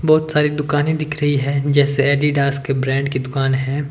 बहोत सारे दुकाने दिख रही है जैसे एडिडास के ब्रांड की दुकान है।